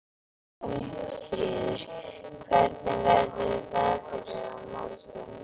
Jónfríður, hvernig verður veðrið á morgun?